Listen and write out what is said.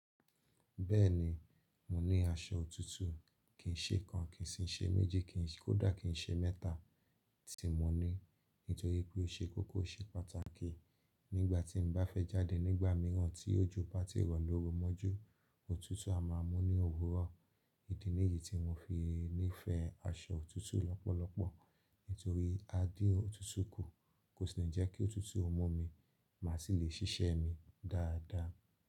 Bẹ́ẹ̀ni, mo ní aṣọ òtútù, kì ń ṣe kan, kì sí ṣe méjì, kódà kì n ṣe mẹ́ta tí mo ní, nítorí pé ó ṣe kókó oṣe pàtàkì. Nígbà tí n bá fẹ́ jáde nígbà mìíràn tí ojo bá tí rọ̀ lorú mọ́jú, òtútù a máa mú ní òwúrọ̀. Ìdí nìyí tí mo fi nífẹ̀ẹ́ aṣọ òtútù lọ́pọ̀lọpọ̀ nítorí a dín òtútù kù, kò sì ní jẹ́ kí òtútù ó mú mi, má sì lè ṣiṣẹ́ mi dáadáa.